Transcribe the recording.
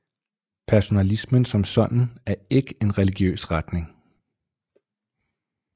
Personalismen som sådan er ikke en religiøs retning